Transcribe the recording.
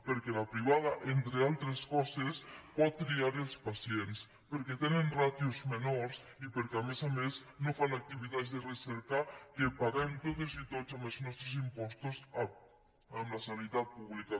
perquè la privada entre altres coses pot triar els pacients perquè tenen ràtios menors i perquè a més a més no fan activitats de recerca que paguem totes i tots amb els nostres impostos en la sanitat pública